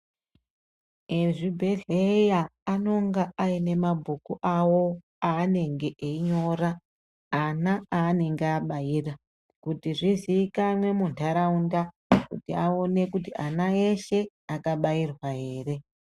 Ezvibhedhleya anonga aine mabhuku awo aanenge einyora ana aanenge abaira kuti zviziikanwe muntaraunda kuti aone kuti ana eshe akabairwa here.